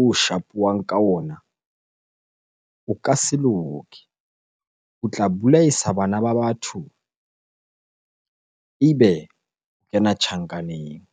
o shapuwang ka ona, o ka se loke. O tla bolaisa bana ba batho ebe o kena tjhankaneng.